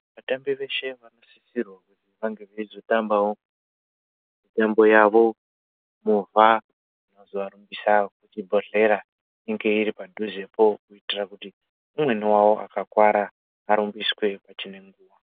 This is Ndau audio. Vatambi veshe veizosisirwa vange kunge veizotambawo mitambo yavo movha pazuwa ropisa yekuchibhedhera inge iri padhuzepo kuitira kuti umweni wawo akakuwara arumbiswe pachine nguwa.